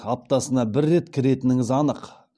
аптасына бір рет кіретініңіз анық